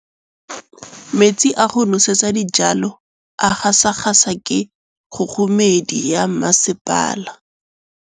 Metsi a go nosetsa dijalo a gasa gasa ke kgogomedi ya masepala.